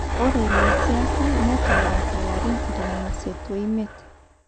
Ore ilosiasai netwa etaa larin 85.